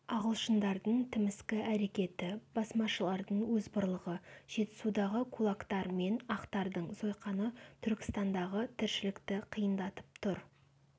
ағылшындардың тіміскі әрекеті басмашылардың озбырлығы жетісудағы кулактар мен ақтардың сойқаны түркістандағы тіршілікті қиындатып тұр